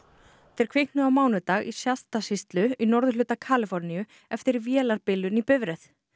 þeir kviknuðu á mánudag í sýslu í norðurhluta Kaliforníu eftir vélarbilun í bifreið